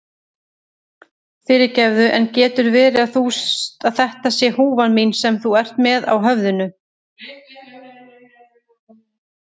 Fyrirgefðu, en getur verið að þetta sé húfan mín sem þú ert með á höfðinu?